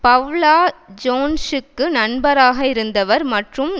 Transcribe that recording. Paula ஜோன்ஸூக்கு நண்பராக இருந்தவர் மற்றும்